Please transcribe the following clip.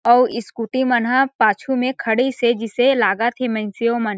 scooty मन ह पाछू में खड़ी से जिसे लागत हे मन--